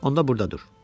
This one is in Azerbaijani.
Onlar burdadır."